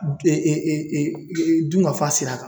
dun ka fa sira kan.